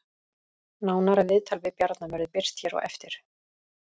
Nánara viðtal við Bjarna verður birt hér á eftir